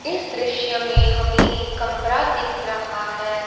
इस दृश्य में हमें एक कमरा दिख रहा है।